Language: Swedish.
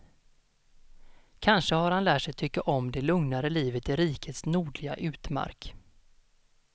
Kanske har han lärt sig tycka om det lugnare livet i rikets nordliga utmark.